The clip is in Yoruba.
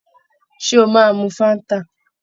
Ṣé ó máa mu Fáńtà?